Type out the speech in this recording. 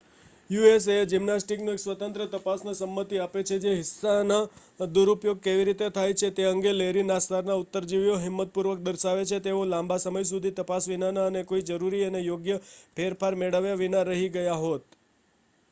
USA ના gymnastic એક સ્વતંત્ર તપાસ ને સંમતિ આપે છે જે હિસ્સા ના દુરુપયોગ કેવી રીતે થાય છે તે અંગે લેરી નાસ્સાર ના ઉત્તરજીવીઓ હિંમત પૂર્વક દર્શાવે છે કે તેઓ લાંબા સમય સુધી તપાસ વિનાના અને કોઈ જરૂરી અને યોગ્ય ફેરફાર મેળવ્યા વિના રહી ગયા હોત